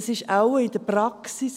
Es ist wohl in der Praxis …